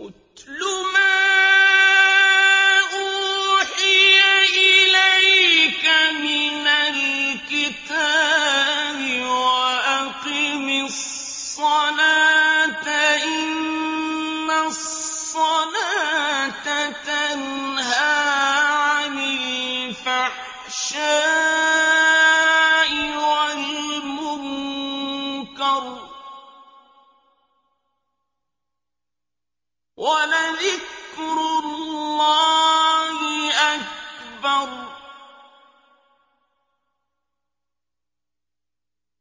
اتْلُ مَا أُوحِيَ إِلَيْكَ مِنَ الْكِتَابِ وَأَقِمِ الصَّلَاةَ ۖ إِنَّ الصَّلَاةَ تَنْهَىٰ عَنِ الْفَحْشَاءِ وَالْمُنكَرِ ۗ وَلَذِكْرُ اللَّهِ أَكْبَرُ ۗ